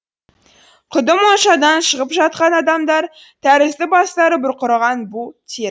құдды моншадан шығып жатқан адамдар тәрізді бастары бұрқыраған бу тер